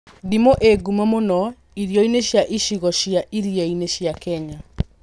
Ndimũ ĩ ngumo mũno irio-inĩ cia icigo cia iria-inĩ cia Kenya